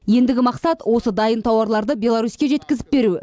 ендігі мақсат осы дайын тауарларды беларуське жеткізіп беру